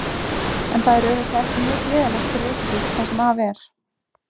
En það er auðvitað ekki mjög gleðilegt fyrir ykkur, það sem af er.